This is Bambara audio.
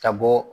Ka bɔ